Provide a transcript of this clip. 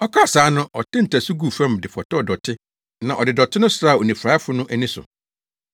Ɔkaa saa no ɔtee ntasu guu fam de fɔtɔw dɔte na ɔde dɔte no sraa onifuraefo no ani so.